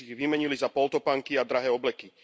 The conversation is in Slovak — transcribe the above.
Dnes ich vymenili za poltopánky a drahé obleky.